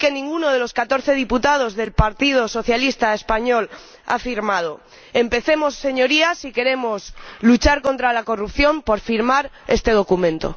que ninguno de los catorce diputados del Partido Socialista Español ha firmado. Empecemos, señorías, si queremos luchar contra la corrupción, por firmar este documento.